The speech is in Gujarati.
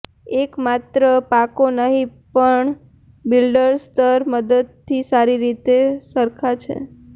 તેઓ માત્ર પાકો નહીં પણ બિલ્ડર સ્તર મદદથી સારી રીતે સરખા છે